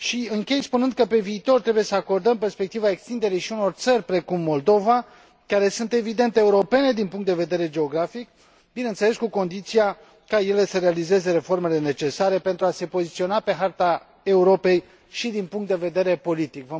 Închei spunând că, pe viitor, trebuie să acordăm perspectiva extinderii și unor țări precum Moldova, care sunt evident europene din punct de vedere geografic, bineînțeles, cu condiția ca ele să realizeze reformele necesare pentru a se poziționa pe harta Europei și din punct de vedere politic.